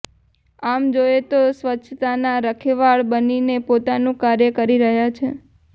આમ જોયે તો સ્વચ્છતાના રખેવાળ બનીને પોતાનું કાર્ય કરી રહ્યા છે